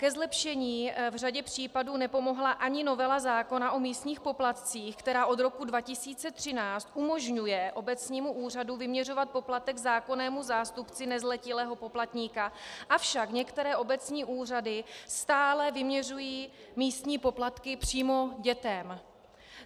Ke zlepšení v řadě případů nepomohla ani novela zákona o místních poplatcích, která od roku 2013 umožňuje obecnímu úřadu vyměřovat poplatek zákonnému zástupci nezletilého poplatníka, avšak některé obecní úřady stále vyměřují místní poplatky přímo dětem.